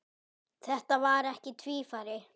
Þetta var ekki tvífari